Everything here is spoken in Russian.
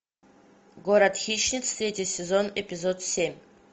город хищниц третий сезон эпизод семь